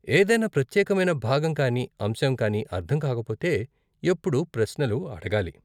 ఏదైనా ప్రత్యేకమైన భాగం కానీ అంశం కానీ అర్ధం కాకపోతే ఎప్పుడూ ప్రశ్నలు అడగాలి.